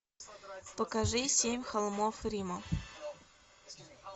покажи семь холмов рима